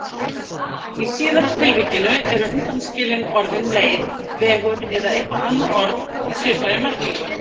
Í síðara tilvikinu eru undanskilin orðin leið, vegur eða eitthvert annað orð í svipaðri merkingu.